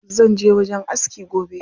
Zanje wajen aski gobe.